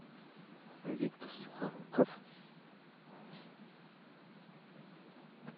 виктор сухоруков